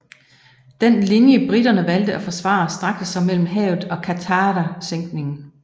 Den linje briterne valgte at forsvare strakte sig mellem havet og Qattara sænkningen